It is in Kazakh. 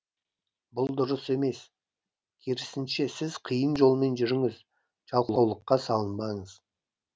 бұл дұрыс емес керісінше сіз қиын жолмен жүріңіз жалқаулыққа салынбаңыз